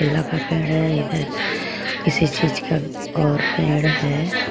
है इधर किसी चीज का और पेड़ है.